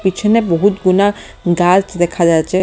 পিছনে বহুত গুনা গাছ দেখা যাচ্ছে ।